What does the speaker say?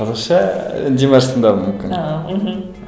қазақша ы димашты тыңдауым мүмкін ааа мхм